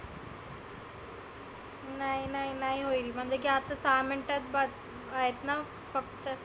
नाही नाही नाही होईल म्हणजे म्हणजे की आता सहा minute त बघ आहेत ना फक्त.